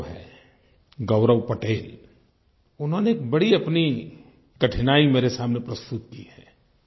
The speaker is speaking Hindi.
गौरव हैं गौरव पटेल उन्होंने एक बड़ी अपनी कठिनाई मेरे सामने प्रस्तुत की है